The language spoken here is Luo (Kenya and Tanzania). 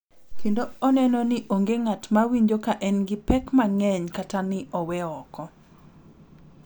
Kendo oneno ni onge ng’at ma winjo ka en gi pek mang’eny kata ni owe oko.